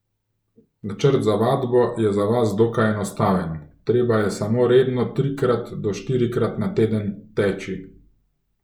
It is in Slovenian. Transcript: Načrt za vadbo je za vas dokaj enostaven, treba je samo redno trikrat do štirikrat na teden teči.